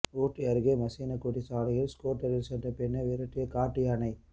ஊட்டி அருகே மசினகுடி சாலையில் ஸ்கூட்டரில் சென்ற பெண்ணை விரட்டிய காட்டு யானை